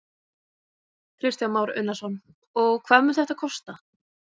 Kristján Már Unnarsson: Og hvað mun þetta kosta?